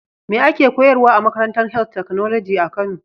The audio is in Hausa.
Me ake koyarwa a makarantar health technology kano.